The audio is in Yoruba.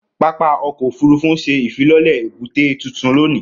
Pápá ọkọ ofurufu n ṣe ifilọlẹ ebute tuntun loni.